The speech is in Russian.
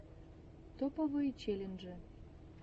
топовые челленджи